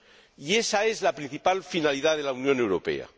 Y esa es la principal finalidad de la Unión Europea.